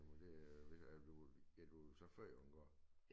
Men det øh er du er du så født på en gård